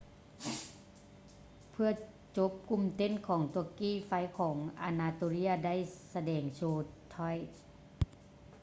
ເພື່ອຈົບ ກຸ່ມເຕັ້ນຂອງຕວກກີ ໄຟຂອງອານາໂຕເລຍ ໄດ້ສະແດງໂຊ troy